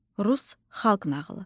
Rus xalq nağılı.